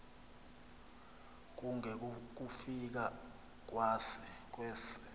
kunge kukufika kwesa